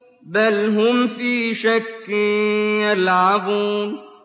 بَلْ هُمْ فِي شَكٍّ يَلْعَبُونَ